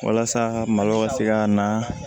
Walasa ka malo ka se ka na